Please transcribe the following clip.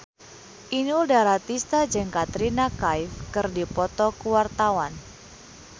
Inul Daratista jeung Katrina Kaif keur dipoto ku wartawan